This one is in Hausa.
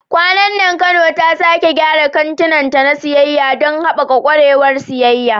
Kwanan nan Kano ta sake gyara kantinta na siyayya don haɓaka ƙwarewar siyayya.